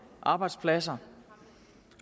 arbejdspladser